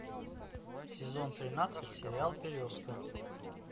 сезон тринадцать сериал березка